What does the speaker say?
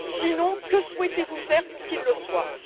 Sinon, que souhaitez vous faire pour qu'ils le soient?